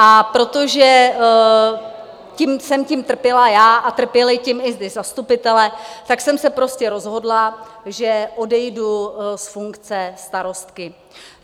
A protože jsem tím trpěla já a trpěli tím i ti zastupitelé, tak jsem se prostě rozhodla, že odejdu z funkce starostky.